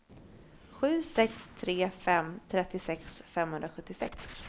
sju sex tre fem trettiosex femhundrasjuttiosex